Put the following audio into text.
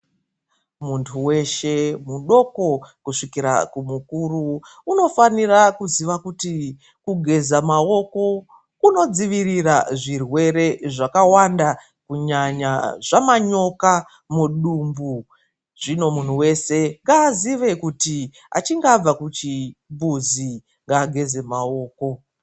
Muntu weshe mudoko kusvikira kumukuru unofanira kuziva kuti kugeza maoko kunodzivirira zvirwere zvakawanda kunyanya zvamanyoka ,mudumbu zvino muntu weshe ngazive kuti achinge abva kuchimbuzi ngageze maoko.